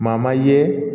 Maa ma ye